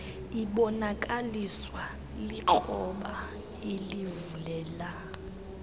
ibonakaliswa likroba elivulela